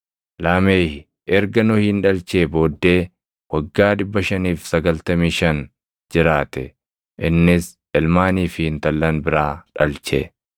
Laameh erga Nohin dhalchee booddee waggaa 595 jiraate; innis ilmaanii fi intallan biraa dhalche.